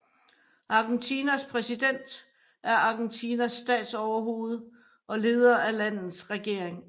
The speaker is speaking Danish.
Argentinas præsident er Argentinas statsoverhoved og leder af landets regering